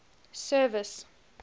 service